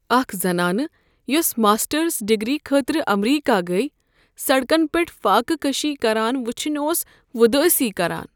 اکھ زنانہٕ یوسہٕ ماسٹرس ڈگری خٲطرٕ امریکہ گٔیہ، سڑکن پیٹھ فاقہ کشی كران وُچھِنۍ اوس وۄدٲسی كران۔